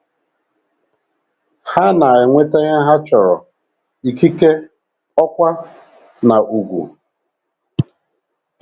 Ha na - enweta ihe ha chọrọ — ikike, ọkwá, na ùgwù. ”